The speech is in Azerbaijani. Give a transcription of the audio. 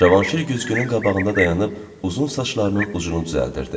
Cavanşir güzgünün qabağında dayanıb uzun saçlarının ucunu düzəldirdi.